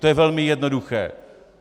To je velmi jednoduché!